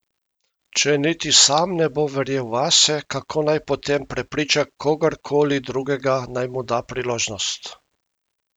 Če niti sam ne bo verjel vase, kako naj potem prepriča kogarkoli drugega, naj mu da priložnost?